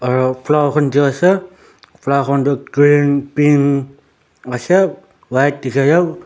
aru flaer khan toh green pink ase white dikhese.